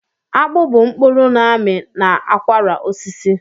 Akpụ bụ mkpụrụ n'ami n'akwara osisi.